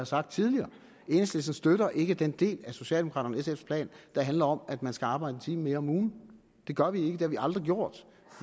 sagt tidligere enhedslisten støtter ikke den del af socialdemokraterne og sf’s plan der handler om at man skal arbejde en time mere om ugen det gør vi ikke har vi aldrig gjort